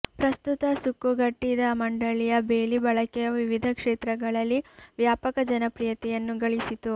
ಪ್ರಸ್ತುತ ಸುಕ್ಕುಗಟ್ಟಿದ ಮಂಡಳಿಯ ಬೇಲಿ ಬಳಕೆಯ ವಿವಿಧ ಕ್ಷೇತ್ರಗಳಲ್ಲಿ ವ್ಯಾಪಕ ಜನಪ್ರಿಯತೆಯನ್ನು ಗಳಿಸಿತು